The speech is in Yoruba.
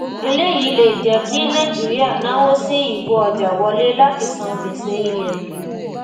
eléyìí lè jẹ́ kí nàìjíríà náwó sí ìkó ọjà wọlé láti san gbèsè ilẹ̀ òkèèrè.